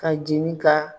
Ka jini ka